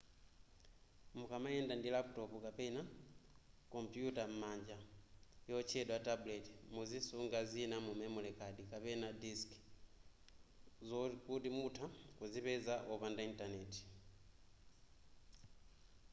mukamayenda ndi laputopu kapena kompuyuta yam'manja yotchedwa tablet muzisunga zina mu memory card kapena disc zokuti mutha kuzipeza wopanda intaneti